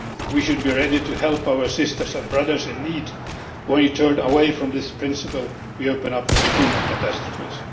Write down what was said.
We should be ready to help our sisters and brothers in need. When we turn away from this principle we open up to human catastrophes.